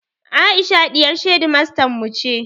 Aisha ɗiyar shedimastan mu ce